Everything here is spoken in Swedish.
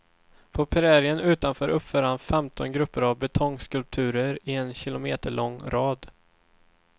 På prärien utanför uppför han femton grupper av betongskulpturer i en kilometerlång rad.